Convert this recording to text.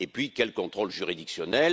Et puis quel contrôle juridictionnel?